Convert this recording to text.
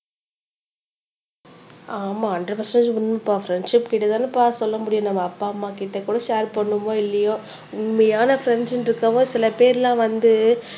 ஆமா அந்த மெசேஜ் உண்மை பா ஃப்ரெண்ட்ஷிப் கிட்ட தானேபா சொல்ல முடியும் நம்ம அப்பா அம்மா கிட்ட கூட ஷேர் பண்ணுவோமா இல்லையோ உண்மையான ஃப்ரெண்ட்ஸ்ன்னு இருக்குறவங்க சில பேர்லாம் வந்து